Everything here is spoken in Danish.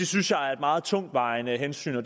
meget tungtvejende hensyn og